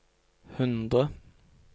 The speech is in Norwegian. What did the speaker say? hundre